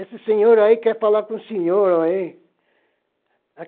Esse senhor aí quer falar com o senhor, aí.